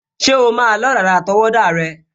Ṣé o o máa lọ́ dàda àtọwọ́wọ́ rẹ?